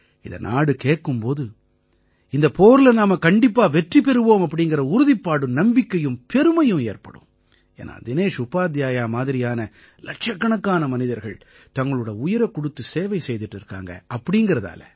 இதை நாடு கேட்கும் போது இந்தப் போர்ல நாம கண்டிப்பா வெற்றி பெறுவோம் அப்படீங்கற உறுதிப்பாடும் நம்பிக்கையும் பெருமையும் ஏற்படும் ஏன்னா தினேஷ் உபாத்யாயா மாதிரியான இலட்சக்கணக்கான மனிதர்கள் தங்களோட உயிரைக் கொடுத்து சேவை செய்திட்டு இருக்காங்க அப்படீங்கறதால